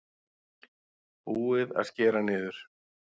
Búið að skera niður